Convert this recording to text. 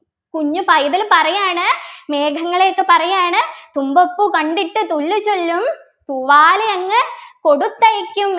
കുഞ്ഞു പൈതൽ പറയാണ് മേഘങ്ങളെയടുത്ത് പറയാണ് തുമ്പപ്പൂ കണ്ടിട്ടു തുല്ലുചൊല്ലും തൂവാലയങ്ങു കൊടുത്തയയ്ക്കും